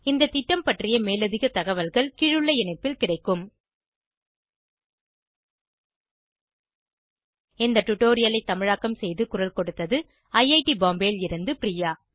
இந்த திட்டம் பற்றிய மேலதிக தகவல்களுக்கு spoken hyphen tutorial dot org slash NMEICT hyphen intro இந்த டுடோரியலை தமிழாக்கம் செய்து குரல் கொடுத்தது ஐஐடி பாம்பேவில் இருந்து பிரியா